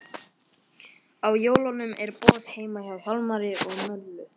Á jólunum er boð heima hjá Hjálmari og Möllu.